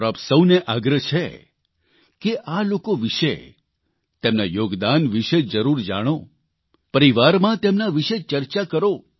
મારો આપ સૌને આગ્રહ છે કે આ લોકો વિષે તેમના યોગદાન વિષે જરૂર જાણો પરિવારમાં તેમના વિષે ચર્ચા કરો